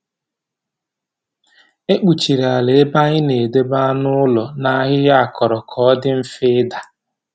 E kpuchiri ala ebe anyị na-edobe anụ ụlọ na ahịhịa akọrọ ka ọ dị mfe ịda.